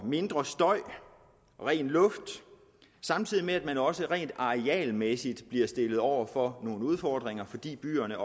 mindre støj ren luft samtidig med at man også rent arealmæssigt bliver stillet over for nogle udfordringer fordi byerne